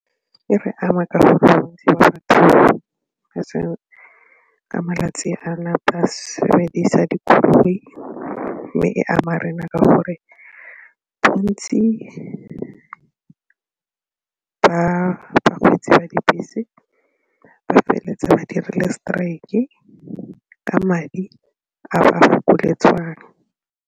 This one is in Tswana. E re ama ka batho ka malatsi a sebedisa dikoloi mme e ama rena ka gore bontsi ba bakgweetsi ba dibese ba feleletsa ba dirile strike ka madi a ba fokoletswang.